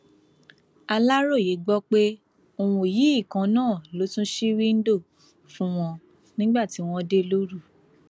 aláròye gbọ pé òun yìí kan náà ló tún ṣí wíńdò fún wọn nígbà tí wọn dé lóru